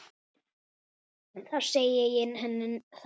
Þá segi ég henni það.